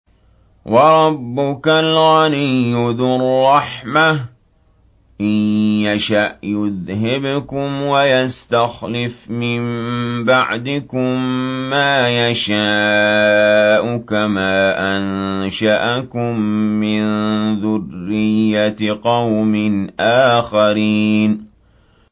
وَرَبُّكَ الْغَنِيُّ ذُو الرَّحْمَةِ ۚ إِن يَشَأْ يُذْهِبْكُمْ وَيَسْتَخْلِفْ مِن بَعْدِكُم مَّا يَشَاءُ كَمَا أَنشَأَكُم مِّن ذُرِّيَّةِ قَوْمٍ آخَرِينَ